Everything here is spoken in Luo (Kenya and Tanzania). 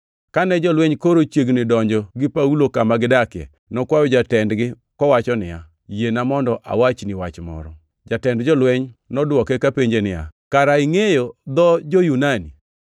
Kane jolweny koro chiegni donjo gi Paulo kama gidakie, nokwayo jatendgi kowacho niya, “Yiena mondo awachni wach moro.” Jatend jolweny nodwoke kapenje niya, “Kare ingʼeyo dho jo-Yunani?